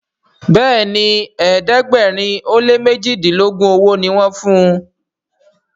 Béèni ẹ̀ẹ́dẹ̀gbẹ̀rin o lẹ mẹjidilogun ọwó ní wón fún.